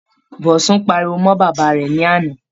Bosun pariwo mọ́ bàbá rẹ̀ ní àná.